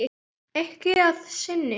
Ekki að sinni.